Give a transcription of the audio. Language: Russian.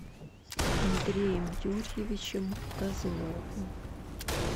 андреем юрьевичем козловым